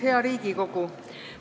Hea Riigikogu!